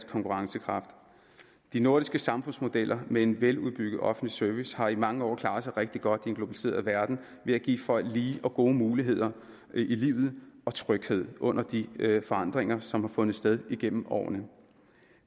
konkurrencekraft de nordiske samfundsmodeller med en veludbygget offentlig service har i mange år klaret sig rigtig godt i en globaliseret verden ved at give folk lige og gode muligheder i livet og tryghed under de forandringer som har fundet sted igennem årene